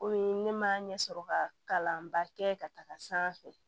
Komi ne ma ɲɛ sɔrɔ ka kalanba kɛ ka taga sanfɛ